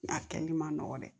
A kɛli man nɔgɔ dɛ